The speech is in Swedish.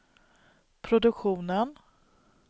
produktionen